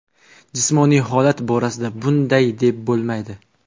Jismoniy holat borasida bunday deb bo‘lmaydi.